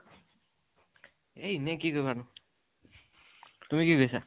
এ ইনেই, কি কৰিম আৰু। তুমি কি কৰি আছা?